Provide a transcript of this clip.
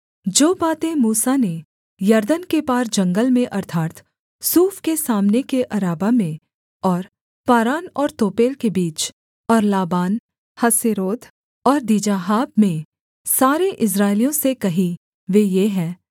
जो बातें मूसा ने यरदन के पार जंगल में अर्थात् सूफ के सामने के अराबा में और पारान और तोपेल के बीच और लाबान हसेरोत और दीजाहाब में सारे इस्राएलियों से कहीं वे ये हैं